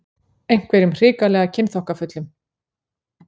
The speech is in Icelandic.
Einhverjum hrikalega kynþokkafullum.